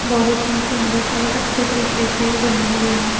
बहोत ही सुंदर और अच्छे तरीके से बने हुए हैं।